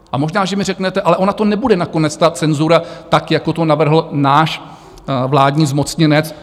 A možná že mi řeknete, ale ona to nebude nakonec ta cenzura, tak jako to navrhl náš vládní zmocněnec.